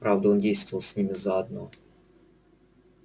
правда он действовал с ними заодно